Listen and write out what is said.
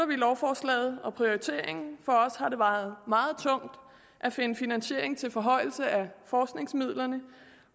vi lovforslaget og prioriteringen for os har det vejet meget tungt at finde finansiering til forhøjelse af forskningsmidlerne